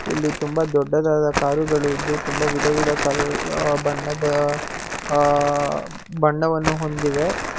ಇಲ್ಲಿ ತುಂಬಾ ದೊಡ್ಡದಾದ ಕಾರುಗಳು ಇದ್ದು ತುಂಬಾ ವಿಧವಿಧ ಕಲರ್ ಬಣ್ಣದ ಅ ಬಣ್ಣವನ್ನು ಹೊಂದಿವೆ.